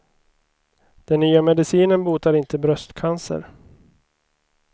Den nya medicinen botar inte bröstcancer.